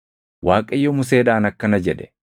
Waaqayyo Museedhaan akkana jedhe;